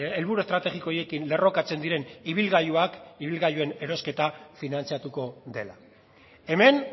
helburu estrategiko horiekin lerrokatzen diren ibilgailuak ibilgailuen erosketa finantzatuko dela hemen